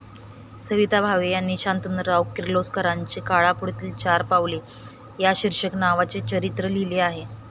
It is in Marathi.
सविता भावे यांनी शंतनुराव किर्लोस्करांचे 'काळापुढती चार पाऊले' या शिर्षकनावाचे चरित्र लिहिले आहे.